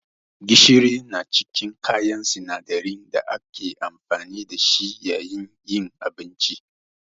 Gishiri na cikin kayan sinadarin da ake amfani da shi yayin yin abinci.